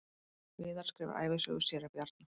Viðar skrifar ævisögu séra Bjarna